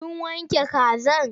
Kin wanke kaza?